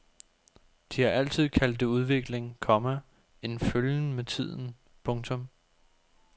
De har altid kaldt det udvikling, komma en følgen med tiden. punktum